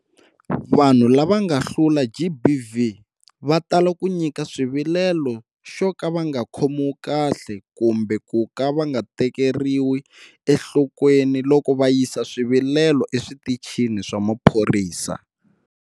Vanhu lava nga hlula GBV va tala ku nyika xivilelo xo ka va nga khomiwi kahle kumbe ku nga tekeriwi enhlokweni loko va yisa swivilelo eswitichini swa maphorisa.